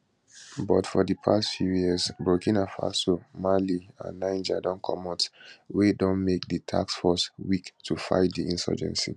but for di past few years burkina faso mali and niger don comot wey don make di task force weak to fight di insurgency